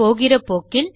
போகிற போக்கில்